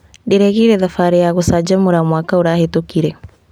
Ndĩrekire thabarĩ ya gũcanjamũra mwaka ũrahetũkire.